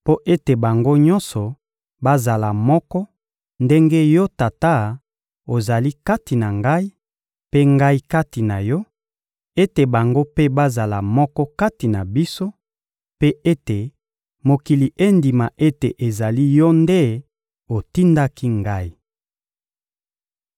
mpo ete bango nyonso bazala moko ndenge Yo Tata ozali kati na Ngai, mpe Ngai kati na Yo; ete bango mpe bazala moko kati na biso, mpe ete mokili endima ete ezali Yo nde otindaki Ngai.